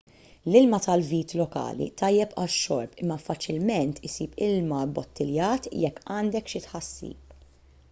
l-ilma tal-vit lokali tajjeb għax-xorb imma faċilment issib ilma bbottiljat jekk għandek xi tħassib